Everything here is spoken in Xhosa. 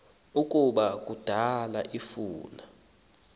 ukuba kudala emfuna